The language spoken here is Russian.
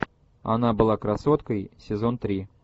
она была красоткой сезон три